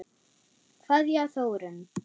Kveðja, Þórunn.